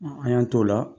An y'an t'o la